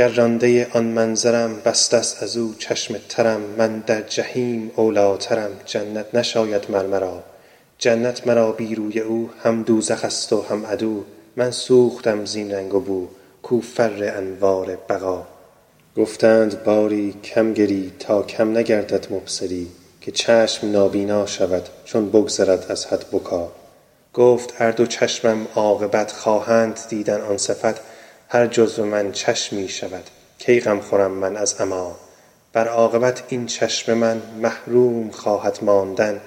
گر رانده آن منظرم بسته است از او چشم ترم من در جحیم اولی ٰترم جنت نشاید مر مرا جنت مرا بی روی او هم دوزخ ست و هم عدو من سوختم زین رنگ و بو کو فر انوار بقا گفتند باری کم گری تا کم نگردد مبصری که چشم نابینا شود چون بگذرد از حد بکا گفت ار دو چشمم عاقبت خواهند دیدن آن صفت هر جزو من چشمی شود کی غم خورم من از عمیٰ ور عاقبت این چشم من محروم خواهد ماندن